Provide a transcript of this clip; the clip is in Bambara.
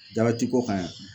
Dabɛtiko kan yan